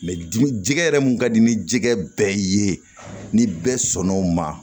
dimi jɛgɛ yɛrɛ mun ka di ni jɛgɛ bɛɛ ye ni bɛɛ sɔn n'o ma